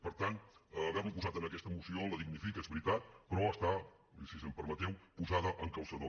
per tant haver lo posat en aquesta moció la dignifica és veritat però està i si m’ho permeteu posada amb calçador